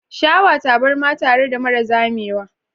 Shawa tabarma tare da mara zamewa.